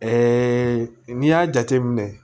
n'i y'a jateminɛ